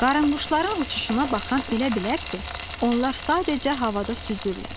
Qaranquşların uçuşuna baxan elə bilər ki, onlar sadəcə havada süzürlər.